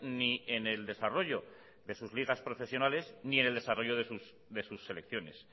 ni en el desarrollo de sus ligas profesionales ni en el desarrollo de sus selecciones